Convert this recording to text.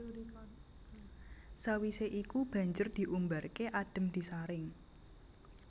Sawisé iku banjur diumbarké adhem disaring